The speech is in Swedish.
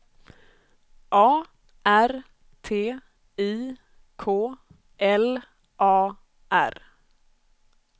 A R T I K L A R